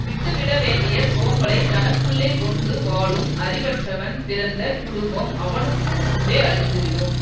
விட்டுவிட வேண்டிய சோம்பலை தனக்குள்ளே கொண்டு வாழும் அறிவற்றவன் பிறந்த குடும்பம் அவனுக்கும் முன்பே அழிந்துவிடும்